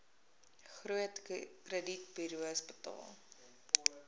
groot kredietburos betaal